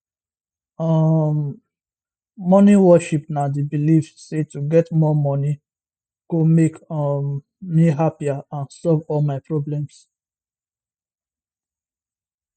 um money worship na di belief say to get more money go make um me happier and solve all my problems